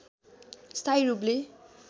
स्थायी रूपले